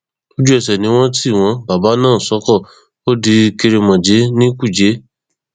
lójúẹsẹ ni wọn tì wọn bàbà náà sóko ó di kèrémónjẹ ní kújẹ